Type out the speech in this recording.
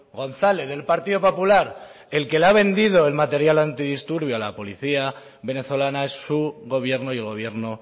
gonzález del partido popular el que le ha vendido el material antidisturbio a la policía venezolana es su gobierno y el gobierno